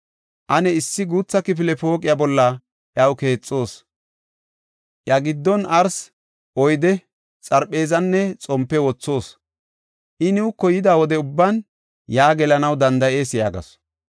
Ane issi guutha kifile pooqiya bolla iyaw keexoos; iya giddon arsi, oyde, xarpheezanne xompe wothoos. I nuuko yida wode ubban yaa gelanaw danda7ees” yaagasu.